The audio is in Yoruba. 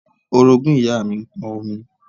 Orogún ìyá mi ń pọn omi